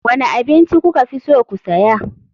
Wane abinci kuka fi so ku saya.